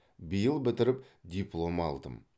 биыл бітіріп диплом алдым